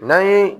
N'an ye